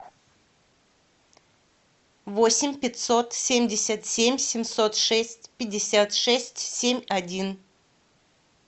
восемь пятьсот семьдесят семь семьсот шесть пятьдесят шесть семь один